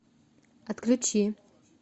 отключи